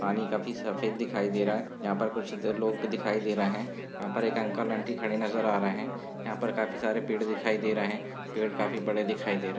पानी काफी सफेद दिखाई दे रहे हैं। यहाँ पर कुछ इधर लोग दिखाई दे रहे हैं। यहाँ पर एक अंकल आंटी खड़े नजर आ रहे हैं। यहाँ पर काफी सारे पेड़ दिखाई दे रहे हैं। पेड़ काफी बड़े दिखाई दे रहे हैं।